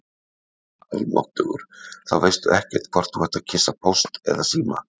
Almáttugur, þá veistu ekkert hvort þú ert að kyssa Póst eða Síma